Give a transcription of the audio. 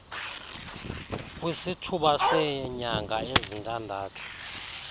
kwisithuba seenyanga ezintandathu